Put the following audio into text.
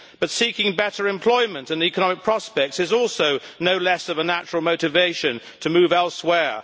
But seeking better employment and economic prospects is also no less of a natural motivation to move elsewhere.